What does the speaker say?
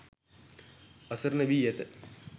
අසරණ වී ඇත.